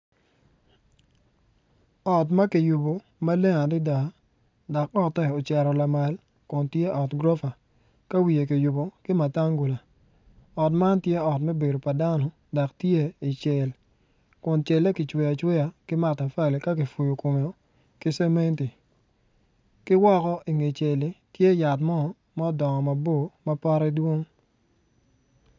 Ot ma kiyubo maleng adada dok otte wocito lamal dok tye ot gurofa ka wiye kubo ki matangula ot man tye ot me bedo pa dano dok tye i cel kun celle kicweyo acweya ki matafali ka kipuyo komeo ki cementi ki woko inge celli tye yat mo ma odongo mabor ma potte dwong.